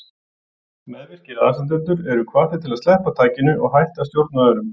Meðvirkir aðstandendur eru hvattir til að sleppa takinu og hætta að stjórna öðrum.